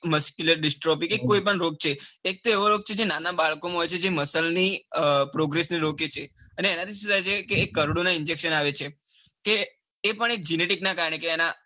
કોઈ પણ રોગ છે એક તો એવો રોગ છે જે નાના બાળકો માં હોય છે જે muscle ની progress ને રોકે છે અને એના થી સુ થાય છે એ કરોડો ના injection આવે છે એ પણ એક genetic ના કારણે